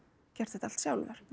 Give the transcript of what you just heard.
gert þetta allt sjálfur